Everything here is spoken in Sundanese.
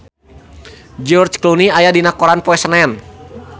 George Clooney aya dina koran poe Senen